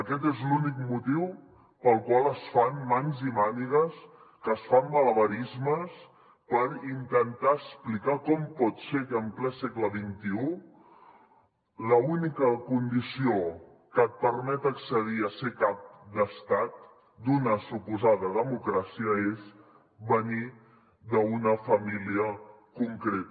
aquest és l’únic motiu pel qual es fan mans i mànigues es fan malabarismes per intentar explicar com pot ser que en ple segle xxi l’única condició que et permet accedir a ser cap d’estat d’una suposada democràcia és venir d’una família concreta